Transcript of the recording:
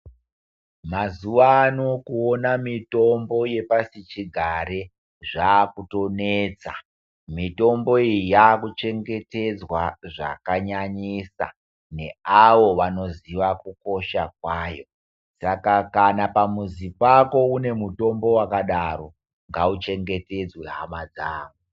Mazuwano kuona mutombo wepasichigare zvakunesa. Mitombo iyi yakuchengetedzwa zvakanyanyisa neavo vanoziya kukosha kwayo. Saka pamuzi pako pane mutombo wakadaro ngauchengetedzwe hama dzangu.